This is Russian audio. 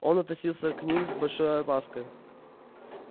он относился к ним с большой опаской